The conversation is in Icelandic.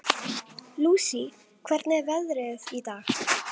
Lousie, hvernig er veðrið í dag?